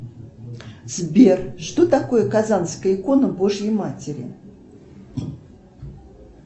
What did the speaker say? сбер что такое казанская икона божьей матери